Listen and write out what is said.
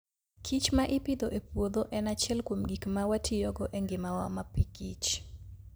kich ma ipidho e puodho en achiel kuom gik ma watiyogo e ngimawa mapikich.